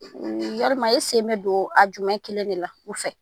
Yalima e sen bɛ don a jumɛn kelen de la u fɛ